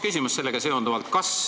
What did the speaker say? Mul on sellega seoses kaks küsimust.